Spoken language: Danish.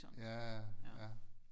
Ja ja ja